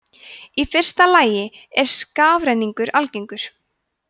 í fyrsta lagi er skafrenningur algengur